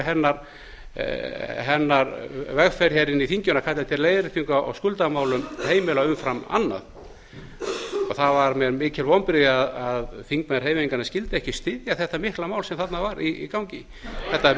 hennar vegferð hér inni í þinginu að kalla eftir leiðréttingu á skuldamálum heimila umfram annað og það voru mér mikil vonbrigði að þingmenn hreyfingarinnar skyldu ekki styðja þetta mikla mál sem þarna var í gangi þetta